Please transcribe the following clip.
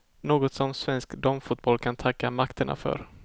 Något som svensk damfotboll kan tacka makterna för.